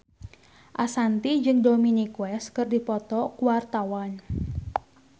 Ashanti jeung Dominic West keur dipoto ku wartawan